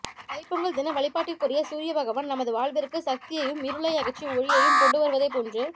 தைப் பொங்கல் தின வழிபாட்டுக்குரிய சூரிய பகவான் நமது வாழ்விற்கு சக்தியையும் இருளை அகற்றும் ஒளியையும் கொண்டு வருவதைப் போன்று